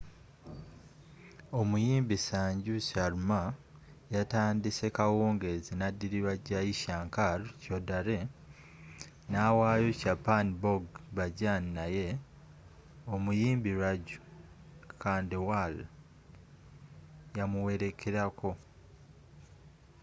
omuyimbi sanju sharma yatandise kawungeezi nadilirwa jai shankar choudhary nawayo chhappan bhog bhajan naye omuyimbi raju khandelwal yamuwerekelako